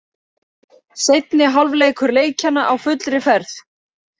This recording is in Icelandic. Seinni hálfleikur leikjanna á fullri ferð.